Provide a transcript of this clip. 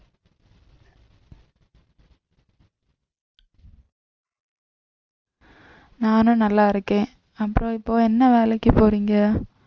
நானும் நல்லா இருக்கேன் அப்புறம் இப்போ என்ன வேலைக்கு போறீங்க